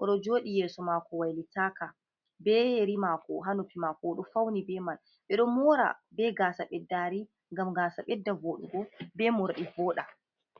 o ɗo joɗi yeso mako wailitaka be yeri mako ha noppi mako o ɗo fauni be mai ɓe ɗo mora be gasa ɓeddari ngam gasa ɓedda voɗugo, be more voɗa.